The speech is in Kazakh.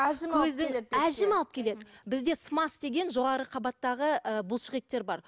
әжім көзді әжім алып кетеді бізде смас деген жоғарғы қабаттағы ы бұлшық еттер бар